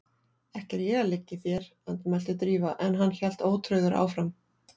Ekki er ég að liggja í þér- andmælti Drífa en hann hélt ótrauður áfram